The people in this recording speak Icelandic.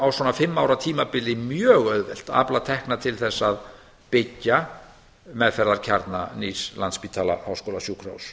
á svona fimm ára tímabili mjög auðvelt að afla tekna til þess að byggja meðferðarkjarna nýs landspítala háskólasjúkrahúss